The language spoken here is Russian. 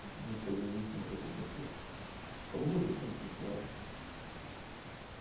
некоторые даже не смотрят эти отчёты кому нужно тем и присылаю